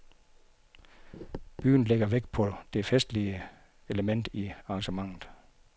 Byen lægger vægt på det festlige element i arrangementet.